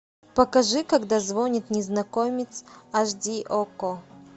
покажи когда звонит незнакомец аш ди окко